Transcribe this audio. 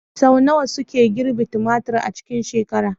Sau nawa suke girbi tumatir a cikin shekara?